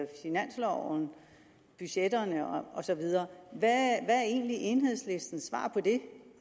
finansloven budgetterne og så videre hvad er egentlig enhedslistens svar på det